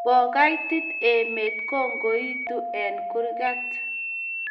Ko kaitit emet ko ingetu eng kurgat